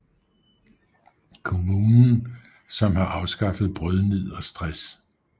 Kommunen som har afskaffet brødnid og stress